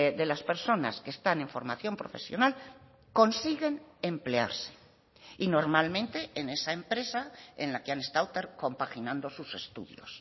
de las personas que están en formación profesional consiguen emplearse y normalmente en esa empresa en la que han estado compaginando sus estudios